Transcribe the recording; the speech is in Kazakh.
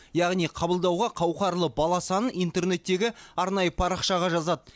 яғни қабылдауға қауқарлы бала санын интернеттегі арнайы парақшаға жазады